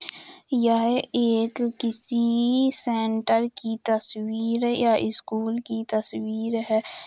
यह एक किसी सेंटर की तस्वीर या स्कूल की तस्वीर है ।